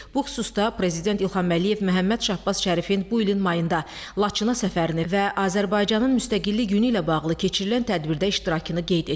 Bu xüsusda Prezident İlham Əliyev Məhəmməd Şahbaz Şərifin bu ilin mayında Laçına səfərini və Azərbaycanın Müstəqillik Günü ilə bağlı keçirilən tədbirdə iştirakını qeyd etdi.